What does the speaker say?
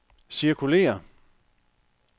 cirkulér